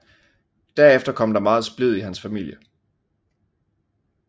Derefter kom der meget splid i hans familie